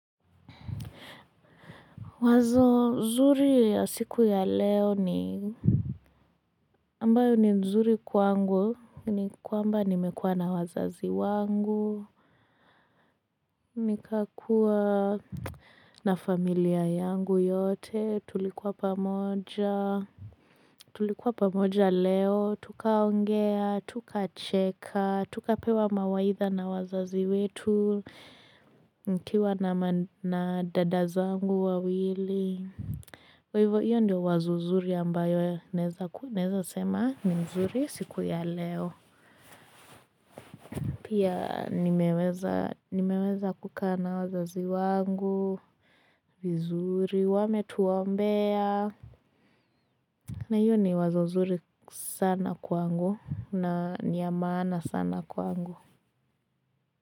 Wazo nzuri ya siku ya leo ni ambayo ni nzuri kwangu ni kwamba nimekuwa na wazazi wangu nikakuwa na familia yangu yote tulikuwa pamoja tulikuwa pamoja leo tukaongea tuka cheka tukapewa mawaitha na wazazi wetu nikiwa na dada zangu wawili Kwa hivyo, hiyo ndiyo wazo zuri ambayo naeza sema, ni mzuri siku ya leo. Pia nimeweza kukaa na wazazi wangu, vizuri, wametuombea. Na hiyo ni wazo zuri sana kwangu na niya maana sana kwangu.